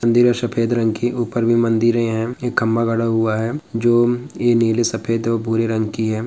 मंदिर है सफ़ेद रंग की ऊपर में मंदिरे है एक खम्बा गाड़ा हुआ है जो ये नीले सफ़ेद और भूरे रंग की है।